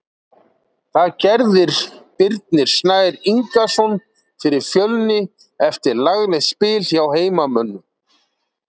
Það gerðir Birnir Snær Ingason fyrir Fjölni eftir laglegt spil hjá heimamönnum.